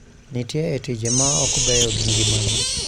Nitie e tije ma ok beyo gi ngimagi